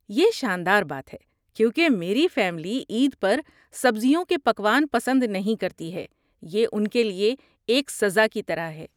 یہ شان دار بات ہے، کیونکہ میری فیملی عید پر سبزیوں کے پکوان پسند نہیں کرتی ہے۔ یہ ان کے لئے ایک سزا کی طرح ہے۔